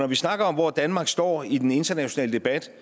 vi snakker om hvor danmark står i den internationale debat